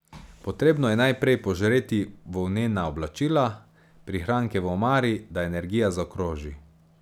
Potrebno je najprej požreti volnena oblačila, prihranke v omari, da energija zaokroži.